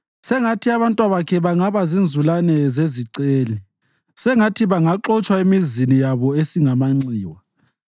Sengathi abantwabakhe bangaba zinzulane zeziceli; sengathi bangaxotshwa emizini yabo esingamanxiwa.